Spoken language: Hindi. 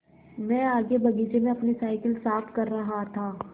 मैं आगे बगीचे में अपनी साईकिल साफ़ कर रहा था